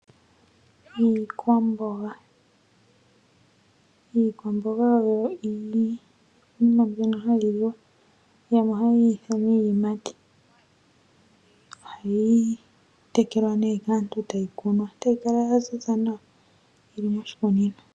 Iikwamboga oyo iinima mbyono hayi liwa . Yamwe ohaye yi ithana iiyimati. Ohayi tekelwa nee kaantu etayi kunwa etayi kala ya ziza nawa yili moshikunino.